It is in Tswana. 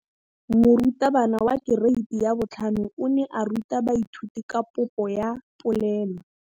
Moratabana wa kereiti ya 5 o ne a ruta baithuti ka popô ya polelô.